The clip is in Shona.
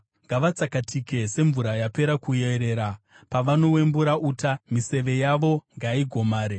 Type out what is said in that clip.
Ngavatsakatike semvura yapera kuerera; pavanowembura uta, miseve yavo ngaigomare.